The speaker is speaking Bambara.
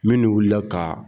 Minnu wulila ka